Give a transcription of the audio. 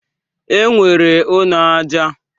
E nwere ụnọ aja.